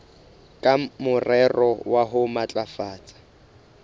ka morero wa ho matlafatsa